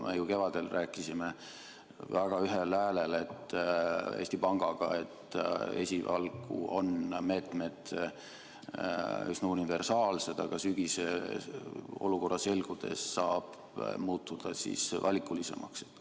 Me ju kevadel rääkisime väga ühel häälel Eesti Pangaga, et esialgu on meetmed üsna universaalsed, aga sügisel olukorra selgudes saab need muuta valikulisemaks.